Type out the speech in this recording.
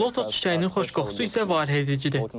Lotus çiçəyinin xoş qoxusu isə valeh edicidir.